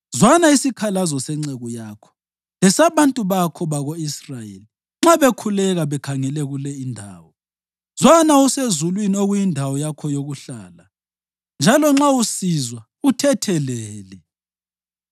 Zwana isikhalazo senceku yakho lesabantu bakho bako-Israyeli nxa bekhuleka bekhangele kule indawo. Zwana usezulwini okuyindawo yakho yokuhlala, njalo nxa usizwa, uthethelele.